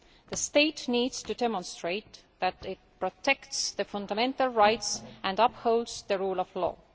The state needs to demonstrate that it protects fundamental rights and upholds the rule of law.